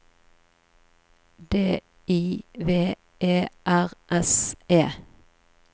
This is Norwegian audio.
D I V E R S E